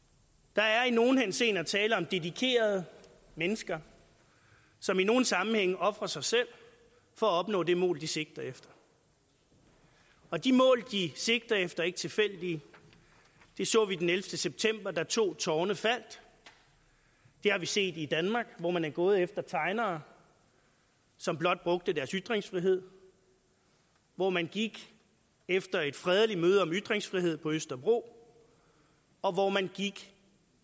der er i nogle henseender tale om dedikerede mennesker som i nogle sammenhænge ofrer sig selv for at opnå det mål de sigter efter og de mål de sigter efter er ikke tilfældige det så vi den ellevte september da to tårne faldt det har vi set i danmark hvor man er gået efter tegnere som blot brugte deres ytringsfrihed hvor man gik efter et fredeligt møde om ytringsfrihed på østerbro og hvor man gik